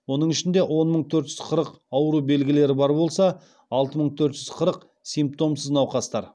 оның ішінде он мың төрт жүз қырық ауру белгілері бар болса алты мың төрт жүз қырық симптомсыз науқастар